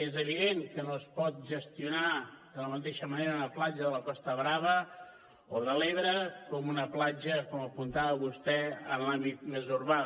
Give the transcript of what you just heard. és evident que no es pot gestionar de la mateixa manera una platja de la costa brava o de l’ebre que una platja com apuntava vostè en l’àmbit més urbà